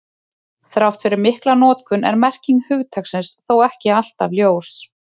Þrátt fyrir mikla notkun er merking hugtaksins þó ekki alltaf ljós.